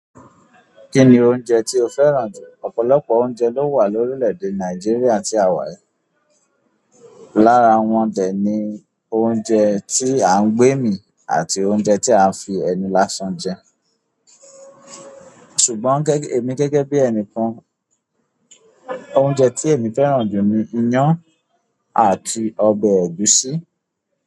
Kini oúnjẹ ti o fẹ́ràn. Ọ̀pọ̀lọpọ̀ oúnjẹ lo wa ni orilede Nijeriya ti a wa yìí. Lára wọn dè ní oúnjẹ tí à ń gbẹ́mi àti oúnjẹ tí à ń fi ẹnu lásán jẹ. Ṣùgbọ́n gẹ́gẹ́, èmi gẹ́gẹ́ bí ẹni kan, oúnjẹ tí èmi fẹ́ràn jù ni iyán àti ọbẹ̀ ẹ̀gúsí.